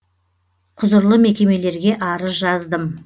құзырлы мекемелерге арыз жаздым